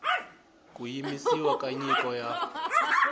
ku yimisiwa ka nyiko ya